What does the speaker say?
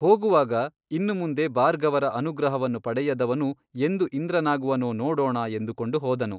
ಹೋಗುವಾಗ ಇನ್ನು ಮುಂದೆ ಭಾರ್ಗವರ ಅನುಗ್ರಹವನ್ನು ಪಡೆಯದವನು ಎಂದು ಇಂದ್ರನಾಗುವನೋ ನೋಡೋಣ ಎಂದುಕೊಂಡು ಹೋದನು.